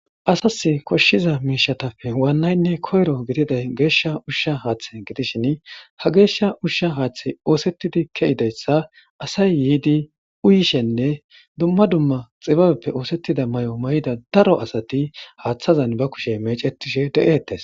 asas koshshiza miishatappe waannaynne koyro gididay geeshsha ushsha haaththe gidishin ha geeshsha ushsha haaththey oosettidi ke7idayssa asay yiidi uyishenne dumma dumma xibabeppe oosettida may7o may7ida daro asati haaththazan ba kushe mecetishe de7ettes